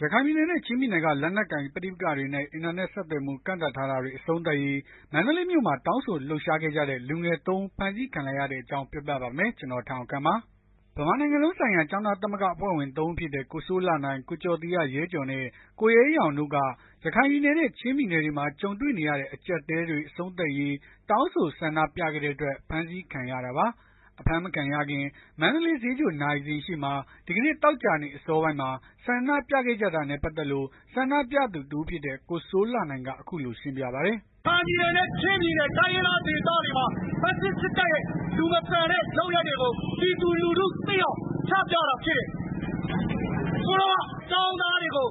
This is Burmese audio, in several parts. ရခိုင်ပြည်နယ်နဲ့ ချင်းပြည်နယ်က လက်နက်ကိုင်ပဋိပက္ခတွေနဲ့ အင်တာနက် ဆက်သွယ်မှု ကန့်သတ်ထားတာတွေ အဆုံးသတ်ရေး မန္တလေးမြို့မှာ တောင်းဆိုလှုပ်ရှားခဲ့ကြတဲ့ လူငယ် သုံး ဦး ဖမ်းဆီးခံလိုက်ရတဲ့အကြောင်းကို ဗွီအိုအေမြန်မာပိုင်းသတင်းထောက် ကိုထက်အောင်ခန့်က ပြောပြပါမယ်။ ဗမာနိုင်ငံလုံးဆိုင်ရာ ကျောင်းသား သမဂ္ဂအဖွဲ့ဝင် သုံး ဦးဖြစ်တဲ့ ကိုစိုးလှနိုင်၊ ကိုကျော်သီဟရဲကျော်နဲ့ ကိုရဲရင့်အောင်တို့က ရခိုင်နဲ့ ချင်းပြည်နယ်တွေမှာ ကြုံနေရတဲ့ အကြပ်အတည်းတွေ အဆုံးသတ်ရေး တောင်းဆိုဆန္ဒပြခဲ့တဲ့အတွက် ဖမ်းဆီးခံခဲ့ရတာပါ။ အဖမ်းမခံရခင် မန္တလေး ဈေးချို နာရီစင်ရှေ့မှာ ဒီကနေ့ သောကြာနေ့ အစောပိုင်းမှာ ဆန္ဒပြခဲ့ကြတာနဲ့ ပတ်သက်လို့ ဆန္ဒပြသူ တစ်ဦးဖြစ်တဲ့ ကိုစိုးလှနိုင်က အခုလိုရှင်းပြပါတယ်။ “ရခိုင်ပြည်နယ်နဲ့ ချင်းပြည်နယ် တိုင်းရင်းသားဒေသတွေမှာ ဖက်ဆစ် စစ်တပ်ရဲ့ လူမဆန်တဲ့ လုပ်ရပ်တွေကို ပြည်သူလူထု သိအောင် ချပြတာဖြစ်တယ်။ ကျောင်းသားတွေကို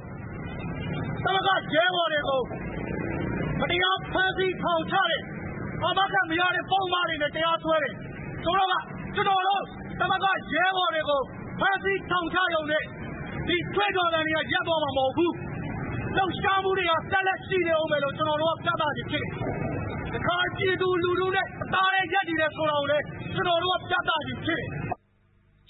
သမဂ္ဂရဲဘော်တွေကို မတရားဖမ်းဆီးထောင်ချတယ် အာမခံမရတဲ့ ပုဒ်မတွေနဲ့ တရားစွဲတယ်။ ကျနော်တို့ သမဂ္ဂရဲဘော်တွေကို ဖမ်းဆီးထောင်ချရုံနဲ့ ဒီကြွေးကြော်သံတွေက ရပ်သွားမှာ မဟုတ်ဘူး။ လှုပ်ရှားမှုတွေက ဆက်လက်ရှိနေအုံးမှာ ဖြစ်တယ်လို့ ပြသခြင်းဖြစ်တယ်။ ရခိုင်ပြည်သူလူထုနဲ့ တသားတည်း ရပ်တည်တယ်ဆိုတာ ပြသခြင်းဖြစ်တယ်။”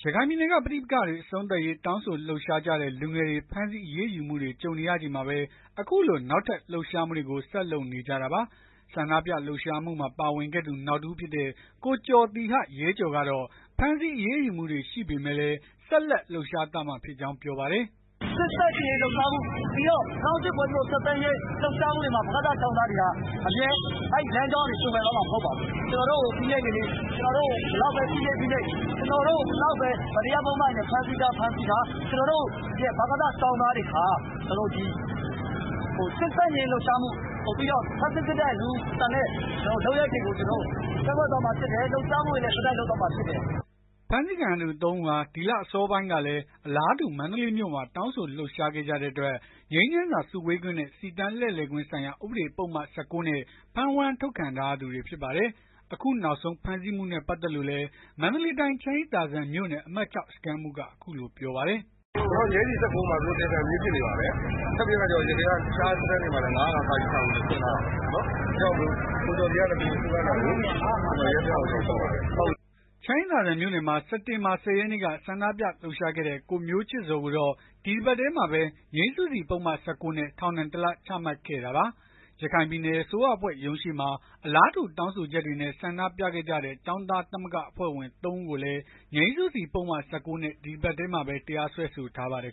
ရခိုင်ပြည်နယ်က ပဋိပက္ခတွေ အဆုံးသတ်ရေး တောင်းဆိုလှုပ်ရှားကြတဲ့ လူငယ်တွေ ဖမ်းဆီးအရေးယူမှုတွေ ကြုံနေရချိန်မှာပဲ အခုလို နောက်ထပ် လှုပ်ရှားမှုတွေကို ဆက်လုပ်နေကြတာပါ။ ဆန္ဒပြလှုပ်ရှားမှုမှာ ပါဝင်ခဲ့သူ နောက်တဦးဖြစ်တဲ့ ကိုကျော်သီဟရဲကျော်ကတော့ ဖမ်းဆီးအရေးယူမှုတွေ ရှိပေမဲ့လည်း ဆက်လက်လှုပ်ရှားသွားမှာဖြစ်ကြောင်း ပြောပါတယ်။ “စစ်ဆန့်ကျင့်ရေးလှုပ်ရှားမှု ၂၀၀၈ ဖွဲ့စည်းပုံ အခြေခံဥပဒေ ဖျက်သိမ်းရေး လှုပ်ရှားမှုတွေမှာ ဗကသ ကျောင်းသားတွေ အမြဲ အဲ့လမ်းကြောင်းကနေ သွေဖယ်သွားမှာမဟုတ်ပါဘူး။ ကျွန်တော်တို့ကို ဘယ်လောက်ပဲ ဖိနှိပ်ဖိနှိပ် ကျနော်တို့က ဘယ်လောက်ပဲ မတရား ပုဒ်မတွေနဲ့ ဖမ်းဆီးထား ဖမ်းဆီးထား ကျနော်တို့ရဲ့ ဗကသ ကျောင်းသားတွေဟာ စစ်ဆန့်ကျင်ရေး လှုပ်ရှားမှု ဖက်ဆစ် စစ်တပ်ရဲ့ လူမဆန်တဲ့ လုပ်ရပ်တွေကို ကန့်ကွက် သွားမှာ ဖြစ်တယ် ဆက်တိုက် လှုပ်ရှားသွားမှာဖြစ်တယ်။” ဖမ်းဆီးခံရသူ ၃ ဦးဟာ ဒီလဆန်းပိုင်းတုန်းကလည်း အလားတူ မန္တလေးမြို့မှာ တောင်းဆိုလှုပ်ရှားခဲ့ကြတဲ့အတွက် ငြိမ်းချမ်းစွာ စုဝေးခွင့်နဲ့ စီတန်းလှည့်လည်ခွင့်ဆိုင်ရာ ဥပဒေပုဒ်မ ၁၉ နဲ့ ဖမ်းဝရမ်းထုတ်ခံထားရသူတွေ ဖြစ်ပါတယ်။ အခုနောက်ဆုံး ဖမ်းဆီးမှုနဲ့ ပတ်သက်လို့လည်း မန္တလေးတိုင်း ချမ်းအေးသာစံမြို့နယ် အမှတ် ၆ စခန်းမှူးက အခုလိုပြောပါတယ်။ “ကျနော်တို့ ငြိမ်းစီ ၁၉ မှာ သူတို့ တရားခံပြေး ဖြစ်နေပါတယ်။ ထပ်ပြီးတော့ တခြားစခန်းတွေမှာလည်း ၅၀၅ စွဲထားတယ်။ အဲ့ဒါကြောင့် ကိုကျော်သီဟနဲ့ ကိုစိုးနိုင်တို့ကို ရဲစခန်းကို ခေါ်သွားပါမယ်။” ချမ်းအေးသာစံမြို့နယ်မှာ စက်တင်ဘာ ၁၀ ရက်နေ့က ဆန္ဒပြလှုပ်ရှားခဲ့တဲ့ ကိုမျိုးချစ်ဇော်ကိုတော့ ဒီတပတ်ထဲမှာပဲ ငြိမ်းစုစီ ပုဒ်မ ၁၉ နဲ့ ထောင်ဒဏ် ၁ လ ချမှတ်ခဲ့တာပါ။ ရခိုင်ပြည်နယ် အစိုးရအဖွဲ့ရုံးရှေ့မှာ အလားတူ တောင်းဆိုချက်တွေနဲ့ ဆန္ဒပြခဲ့ကြတဲ့ ကျောင်းသား သမဂ္ဂအဖွဲ့ဝင် လူငယ် ၃ ဦးကိုလည်း ငြိမ်းစုစီ ပုဒ်မ ၁၉ နဲ့ ဒီတပတ်ထဲမှာပဲ တရားစွဲဆိုထားပါတယ်